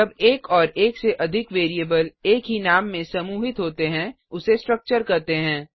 जब एक और एक से अधिक वेरिएबल एक ही नाम में समूहित होते हैं उसे स्ट्रक्चर कहते हैं